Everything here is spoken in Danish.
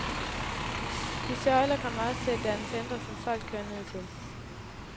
De søjler kommer også til at danne centre, som folk kører ned til.